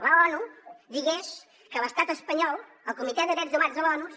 l’onu digués que l’estat espanyol el comitè de drets humans de l’onu